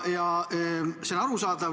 Ja see on arusaadav.